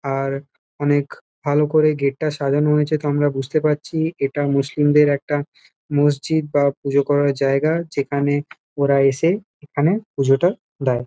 আর অনেক ভালো করেই গেট -টা সাজানো হয়েছে তো আমরা বুঝতে পারছি। এটা মুসলিমদের একটা মসজিদ বা পুজো করার জায়গা যেখানে ওরা এসে এখানে পুজোটা দেয়।